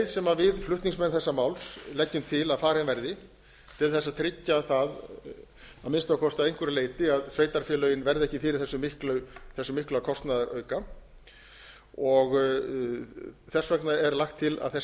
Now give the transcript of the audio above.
sem við flutningsmenn þessa máls leggjum til að farin verði til að tryggja það að minnsta kosti að einhverju leyti að sveitarfélögin verði ekki fyrir þessum mikla kostnaðarauka þess vegna er lagt til að þessi